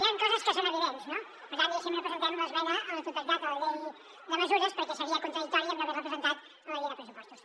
hi han coses que són evidents no per tant diguéssim no presentem l’esmena a la totalitat a la llei de mesures perquè seria contradictori amb no haver la presentat a la llei de pressupostos